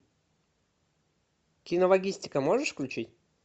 кинологистика можешь включить